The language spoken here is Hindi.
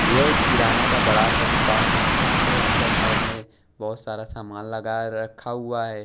यह एक किराना का बड़ा सा दुकान है यहाँ पे अंदर साइड में बहुत सारा सामान लगाए रखा हुआ है।